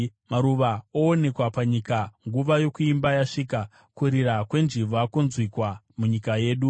Maruva oonekwa panyika; nguva yokuimba yasvika, kurira kwenjiva kwonzwikwa munyika yedu.